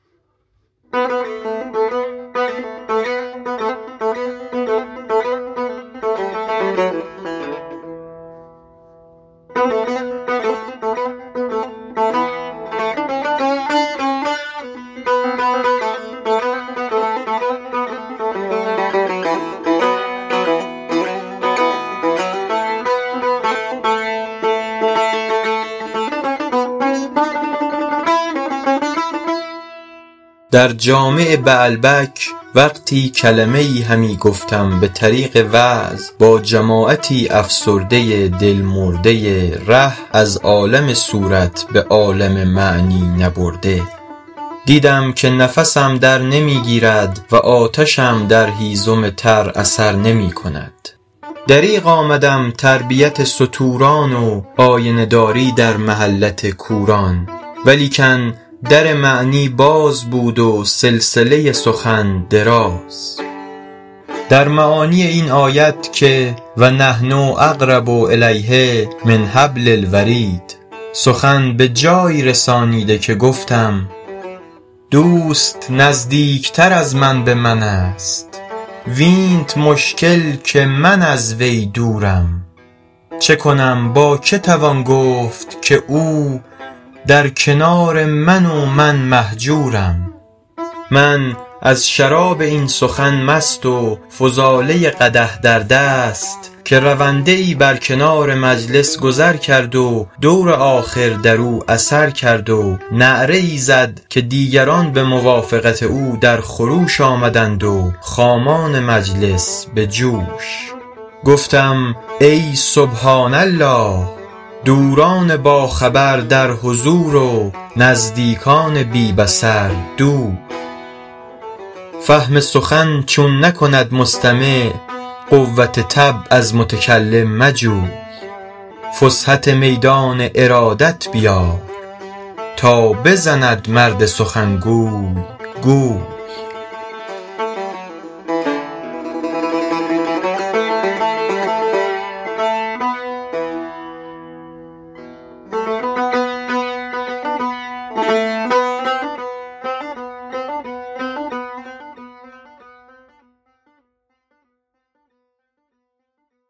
در جامع بعلبک وقتی کلمه ای همی گفتم به طریق وعظ با جماعتی افسرده دل مرده ره از عالم صورت به عالم معنی نبرده دیدم که نفسم در نمی گیرد و آتشم در هیزم تر اثر نمی کند دریغ آمدم تربیت ستوران و آینه داری در محلت کوران ولیکن در معنی باز بود و سلسله سخن دراز در معانی این آیت که و نحن اقرب الیه من حبل الورید سخن به جایی رسانیده که گفتم دوست نزدیکتر از من به من است وینت مشکل که من از وی دورم چه کنم با که توان گفت که او در کنار من و من مهجورم من از شراب این سخن مست و فضاله قدح در دست که رونده ای بر کنار مجلس گذر کرد و دور آخر در او اثر کرد و نعره ای زد که دیگران به موافقت او در خروش آمدند و خامان مجلس به جوش گفتم ای سبحان الله دوران باخبر در حضور و نزدیکان بی بصر دور فهم سخن چون نکند مستمع قوت طبع از متکلم مجوی فسحت میدان ارادت بیار تا بزند مرد سخنگوی گوی